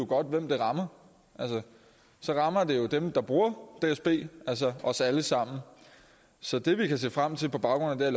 godt hvem det rammer så rammer det jo dem der bruger dsb altså os alle sammen så det vi kan se frem til på baggrund af